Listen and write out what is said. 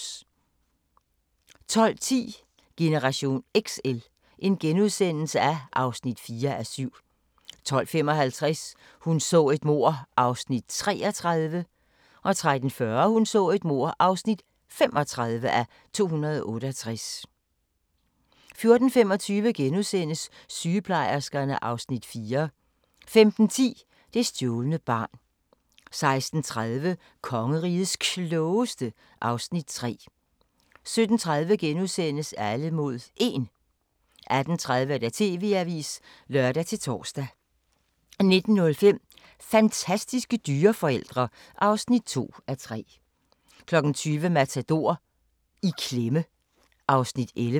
12:10: Generation XL (4:7)* 12:55: Hun så et mord (33:268) 13:40: Hun så et mord (35:268) 14:25: Sygeplejerskerne (Afs. 4)* 15:10: Det stjålne barn 16:30: Kongerigets Klogeste (Afs. 3) 17:30: Alle mod 1 * 18:30: TV-avisen (lør-tor) 19:05: Fantastiske dyreforældre (2:3) 20:00: Matador - i klemme (Afs. 11)